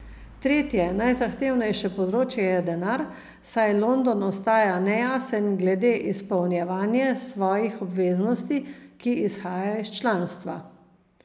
Tretje, najzahtevnejše področje je denar, saj London ostaja nejasen glede izpolnjevanje svojih obveznosti, ki izhajajo iz članstva.